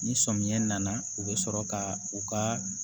Ni sɔmiya nana u bɛ sɔrɔ ka u ka